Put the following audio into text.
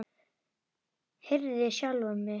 Herði sjálfa mig.